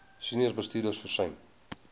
senior bestuurders versuim